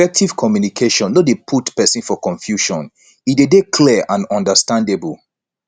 effective communication no de put persin for confusion e de dey clear and understandable